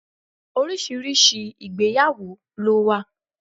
Oríṣiríṣi ìgbéyàwó lo wa